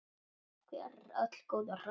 Takk fyrir öll góðu ráðin.